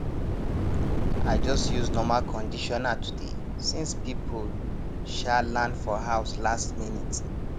i just use normal conditioner today since people um land for house last minute